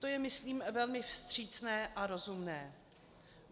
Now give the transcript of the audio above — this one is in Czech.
To je, myslím, velmi vstřícné a rozumné.